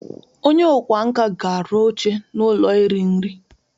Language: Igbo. Onye ọkwá nkà ga-arụ oche n'ụlọ iri nri.